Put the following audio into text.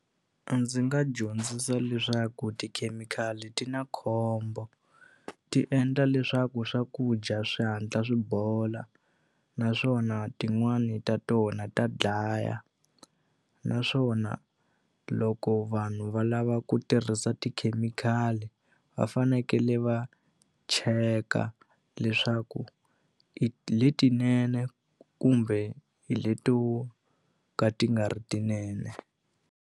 A ndzi nga dyondzisa leswaku tikhemikhali ti na khombo ti endla leswaku swakudya swi hatla swi bola naswona tin'wani ta tona ta dlaya naswona loko vanhu va lava ku tirhisa tikhemikhali va fanekele va cheka leswaku hi letinene kumbe hi leto ka ti nga ri tinene.